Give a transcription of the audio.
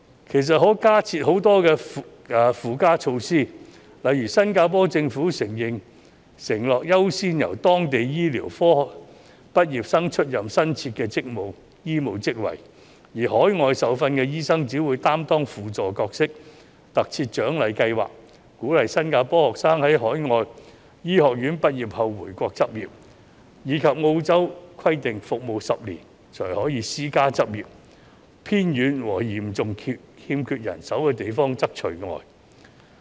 其實，還有很多附加措施可以加設，例如新加坡政府承諾優先由當地醫科畢業生出任新設的醫務職位，而海外受訓醫生只會擔當輔助角色；特設獎勵計劃，鼓勵新加坡學生在海外醫學院畢業後回國執業；以及澳洲規定服務10年才可以私家執業，偏遠和嚴重欠缺人手的地方則除外。